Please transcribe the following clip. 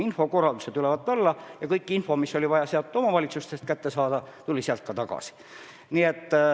Info liikus ülevalt alla ja kogu info, mis oli vaja omavalitsustest kätte saada, sealt ka saabus.